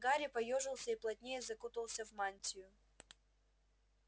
гарри поёжился и плотнее закутался в мантию